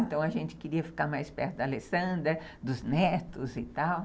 Então, a gente queria ficar mais perto da Alessandra, dos netos e tal.